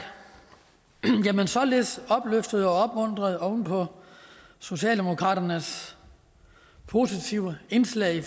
således opløftet og opmuntret oven på socialdemokraternes positive indslag